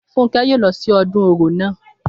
Fúnkẹ́ yóò lọ sí ọdún Orò naa